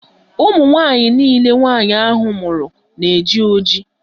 Ụmụnwaanyị nille nwaanyị ahụ mụrụ na-eji ojii